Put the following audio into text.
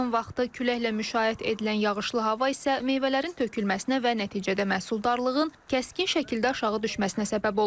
Yığım vaxtı küləklə müşayiət edilən yağışlı hava isə meyvələrin tökülməsinə və nəticədə məhsuldarlığın kəskin şəkildə aşağı düşməsinə səbəb olub.